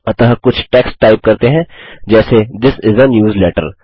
अतः कुछ text type करते हैं जैसे थिस इस आ न्यूजलेटर